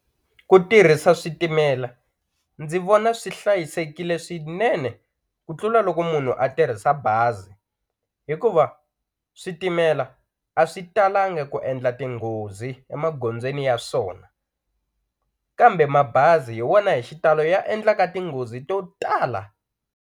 Ku tirhisa switimela, ndzi vona swi hlayisekile swinene ku tlula loko munhu a tirhisa bazi, hikuva switimela a swi talangi ku endla tinghozi emagozweni ya swona, kambe mabazi hi wona hi xitalo ya endlaka tinghozi to tala.